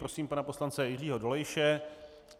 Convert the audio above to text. Prosím pana poslance Jiřího Dolejše.